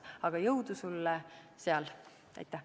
Palju jõudu sulle seal!